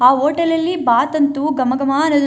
ಆ ಹೋಟೆಲ್ ಲ್ಲಿ ಬಾತ್ ಅಂತೂ ಗಮ ಗಮ ಅನ್ನೋದನ್ನ.